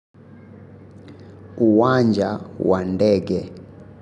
Uwanja wa ndege.